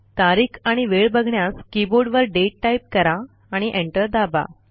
तारीख आणि वेळ बघण्यास कीबोर्डवर दाते टाईप करा आणि एंटर दाबा